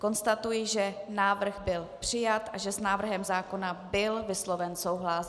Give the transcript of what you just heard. Konstatuji, že návrh byl přijat a že s návrhem zákona byl vysloven souhlas.